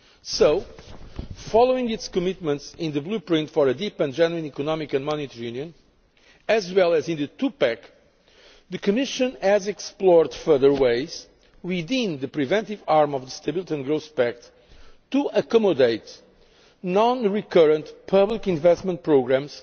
So, following its commitments in the blueprint for a deep and genuine Economic and Monetary Union as well as in the two pack, the Commission has explored further ways within the preventive arm of the Stability and Growth Pact to accommodate non recurrent public investment programmes